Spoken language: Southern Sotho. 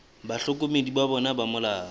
bahlokomedi ba bona ba molao